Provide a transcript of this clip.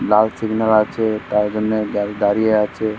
লাল signal আছে তার জন্য দাঁড়িয়ে আছে ।